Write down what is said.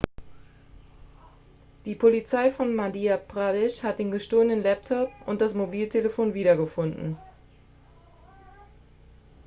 die polizei von madhya pradesh hat den gestohlenen laptop und das mobiltelefon wiedergefunden